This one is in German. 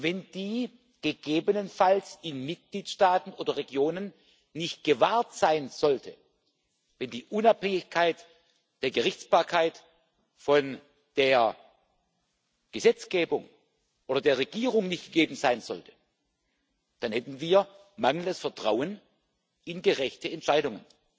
Und wenn diese gegebenenfalls in Mitgliedstaaten oder Regionen nicht gewahrt sein sollte, wenn die Unabhängigkeit der Gerichtsbarkeit von der Gesetzgebung oder der Regierung nicht gegeben sein sollte, dann hätten wir mangelndes Vertrauen in gerechte Entscheidungen.